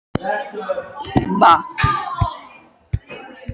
Sagðirðu honum ekki, að það væri hugarburður?